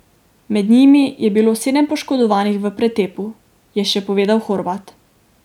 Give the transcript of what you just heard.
Med njimi je bilo sedem poškodovanih v pretepu, je še povedal Horvat.